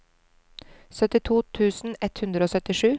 syttito tusen ett hundre og syttisju